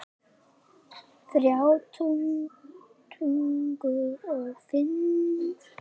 Þrjá tuttugu og fimm